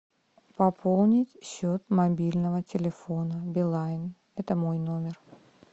пополнить счет мобильного телефона билайн это мой номер